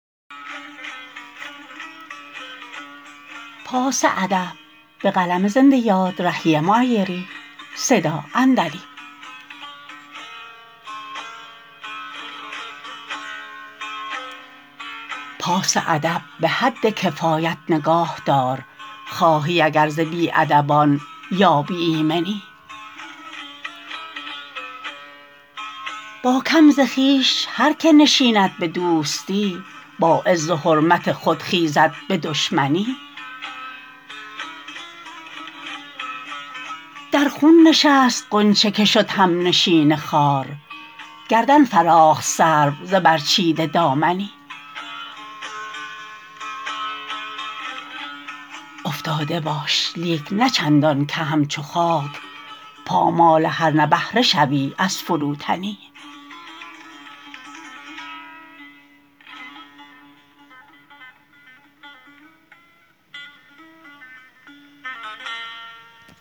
پاس ادب به حد کفایت نگاه دار خواهی اگر ز بی ادبان یابی ایمنی با کم ز خویش هرکه نشیند به دوستی با عز و حرمت خود خیزد به دشمنی در خون نشست غنچه که شد هم نشین خار گردن فراخت سرو ز برچیده دامنی افتاده باش لیک نه چندان که همچو خاک پامال هر نبهره شوی از فروتنی